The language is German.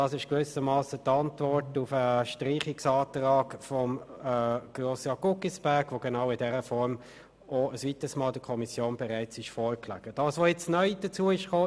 Das ist gewissermassen die Antwort auf den Streichungsantrag von Grossrat Guggisberg, welcher der Kommission genau in dieser Form bereits ein weiteres Mal vorlag.